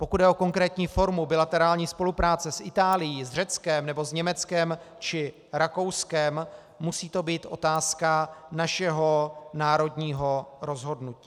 Pokud jde o konkrétní formu bilaterální spolupráce s Itálií, s Řeckem nebo s Německem či Rakouskem, musí to být otázka našeho národního rozhodnutí.